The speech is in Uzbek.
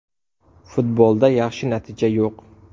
Futbolda yaxshi natija yo‘q.